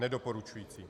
Nedoporučující.